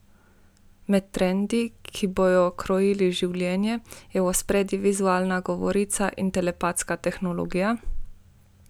Med trendi, ki bodo krojili življenje, je v ospredju vizualna govorica in telepatska tehnologija.